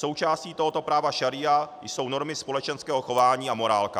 Součástí tohoto práva šaría jsou normy společenského chování a morálka.